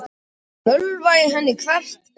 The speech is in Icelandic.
Mölva í henni hvert bein.